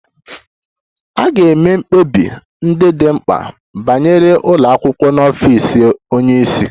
A ga-eme mkpebi ndị dị mkpa banyere ụlọ akwụkwọ n'ọfịs onye isi